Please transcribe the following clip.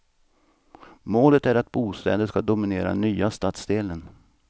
Målet är att bostäder ska dominera den nya stadsdelen.